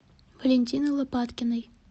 валентины лопаткиной